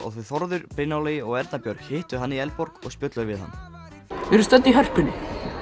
þau Þórður Brynjar Logi og Erna Björg hittu hann í Eldborg og spjölluðu við hann við erum stödd í Hörpunni